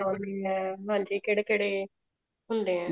ਮਨਾਉਣੇ ਹਾਂ ਮਤਲਬ ਕਿਹੜੇ ਕਿਹੜੇ ਹੁੰਦੇ ਹੈ